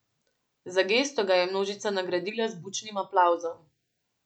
Za gesto ga je množica nagradila z bučnim aplavzom.